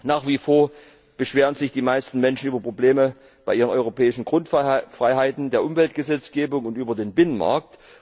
Nach wie vor beschweren sich die meisten Menschen über Probleme bei ihren europäischen Grundfreiheiten, bei der Umweltgesetzgebung und über den Binnenmarkt.